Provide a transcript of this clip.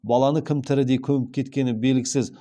баланы кім тірідей көміп кеткені белгісіз